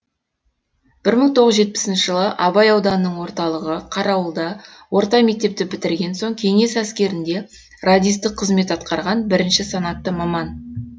бір мың тоғыз жетпісінші жылы абай ауданының орталығы қарауылда орта мектепті бітірген соң кеңес әскерінде радистік қызмет атқарған бірінші санатты маман